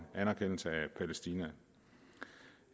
anerkendelse af palæstina